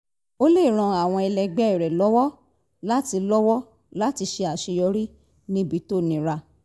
ó lè ran àwọn ẹlẹgbẹ́ rẹ̀ lọ́wọ́ láti lọ́wọ́ láti ṣe àṣeyọrí níbi tó nira